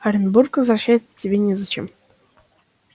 в оренбург возвращаться тебе незачем